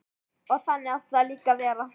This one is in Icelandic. Og þannig átti það líka að vera.